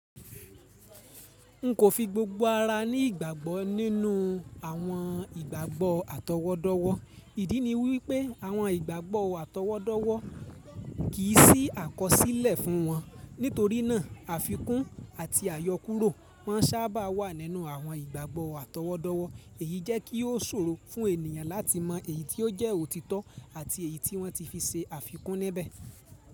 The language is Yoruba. Nkò fi gbogbo ara ní ìgbàgbọ́ nínú àwọn ìgbàgbọ́ àtọwọ́dọ́wọ́. Ìdí ni wípé àwọn ìgbàgbọ́ àtọwọ́dọ́wọ́ kìí sí àkọsílẹ̀ fún wọn. Nítorí náà àfikún àti àyọkúrò máa sábà wà nínú àwọn ìgbàgbọ́ àtọwọ́dọ́wọ́. Èyí jẹ́ kí ó ṣòro fún ènìyàn láti mọ èyí tí ó jẹ́ òtítọ́ àti èyí tí wọ́n ti fi ṣe àfikún níbẹ̀.